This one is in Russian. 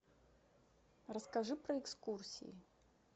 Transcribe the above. расскажи про экскурсии